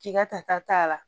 K'i ka ta t'a la